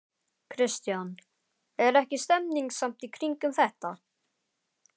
Kristján: Er ekki stemning samt í kringum þetta?